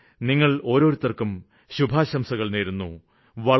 ഞാന് നിങ്ങള് ഓരോരുത്തര്ക്കും ശുഭാശംസകള് നേരുന്നു